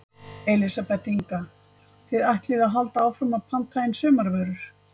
Elísabet Inga: Þið ætlið að halda áfram að að panta inn sumarvörur?